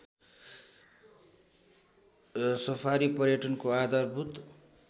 safari पर्यटनको आधारभूत